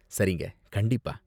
சரிங்க, கண்டிப்பா.